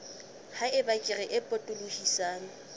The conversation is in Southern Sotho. ha eba kere e potolohisang